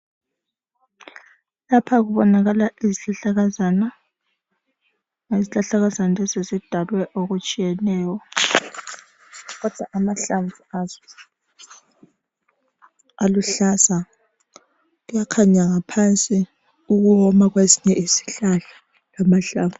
Lapha kubonakala izihlahlakazana. Izihlahlakazana lezi zidalwe okutshiyeneyo kodwa amahlamvu azo aluhlaza. Kuyakhanya ngaphansi ukuwoma kwezinye izihlahla lamahlamvu.